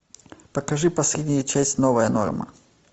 покажи последняя часть новая норма